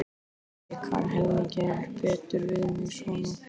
En ég kann helmingi betur við mig svona.